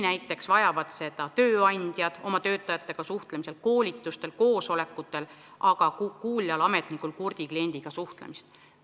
Näiteks vajavad seda tööandjad oma töötajatega suhtlemisel, koolitustel, koosolekutel, samuti kuuljad ametnikud kurtide klientidega suhtlemisel.